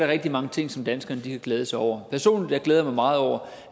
rigtig mange ting som danskerne kan glæde sig over personligt glæder mig meget over